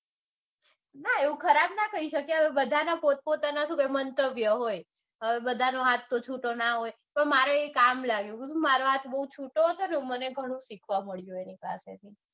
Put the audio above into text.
ના એવું ખરાબ ના કાઈ શકાય. બધાના પોત પોતાના મંતવ્ય હોય. હવે બધાનો હાથ તો છૂટો ના હોય. પણ મારે એ કામ લાગ્યું. કારણકે મારો હાથ બૌ છૂટો હતોને તો બૌ શીખવા મળ્યું એની પાસેથી.